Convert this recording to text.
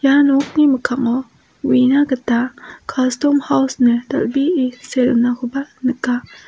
ia nokni mikkango uina gita kastom haus ine dal·bee see donakoba nika.